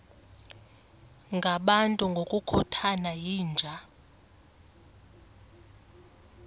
ngabantu ngokukhothana yinja